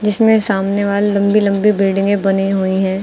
जिसमें सामने वालि लम्बी लम्बी बिल्डिंगें बनी हुई हैं।